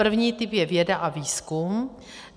První typ je věda a výzkum.